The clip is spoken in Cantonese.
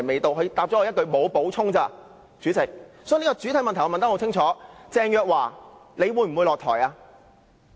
主席，我的補充質詢很清楚：鄭若驊，你會否下台？